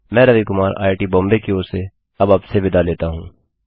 मैं रवि कुमार आईआईटी बॉम्बे की ओर से अब आपसे विदा लेता हूँ